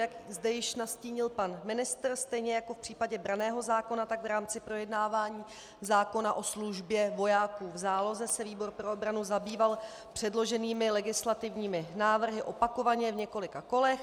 Jak zde již nastínil pan ministr, stejně jako v případě branného zákona, tak v rámci projednávání zákona o službě vojáků v záloze se výbor pro obranu zabýval předloženými legislativními návrhy opakovaně v několika kolech.